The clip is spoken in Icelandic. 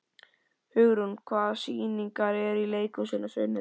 Hugrún, hvaða sýningar eru í leikhúsinu á sunnudaginn?